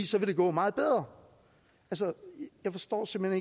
så vil gå meget bedre jeg forstår simpelt